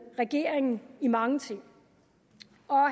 regeringen i mange ting